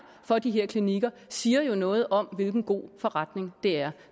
for de her klinikker siger noget om hvilken god forretning det er